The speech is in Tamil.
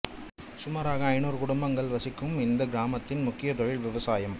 சுமாராக ஐநூறு குடும்பங்கள் வசிக்கும் இந்தக் கிராமத்தின் முக்கியத் தொழில் விவசாயம்